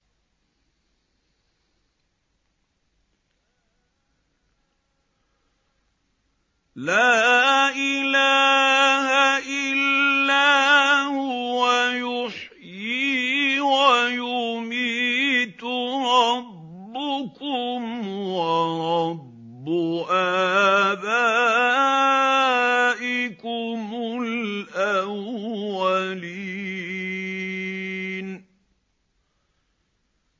لَا إِلَٰهَ إِلَّا هُوَ يُحْيِي وَيُمِيتُ ۖ رَبُّكُمْ وَرَبُّ آبَائِكُمُ الْأَوَّلِينَ